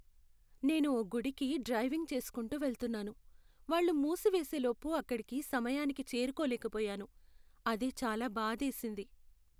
నేను ఓ గుడికి డ్రైవింగ్ చేసుకుంటూ వెళ్తున్నాను, వాళ్ళు మూసివేసే లోపు అక్కడికి సమయానికి చేరుకోలేకపోయాను. అదే చాలా బాధేసింది.